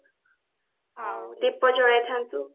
ଆଉ ଦୀପ ଜଳେଇଥାନ୍ତୁ